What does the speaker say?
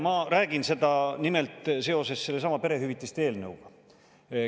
Ma räägin seda nimelt seoses sellesama perehüvitiste eelnõuga.